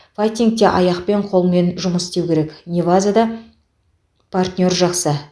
файтингте аяқпен қолмен жұмыс істеу керек невазада партнер жақсы